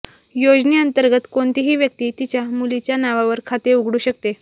योजनेअंतर्गत कोणहीती व्यक्ती तिच्या मुलीच्या नावावर खाते उघडू शकते